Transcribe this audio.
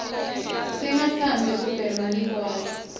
singa tsanbzi kubhema ligwayi